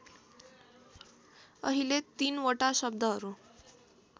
अहिले तीनवटा शब्दहरू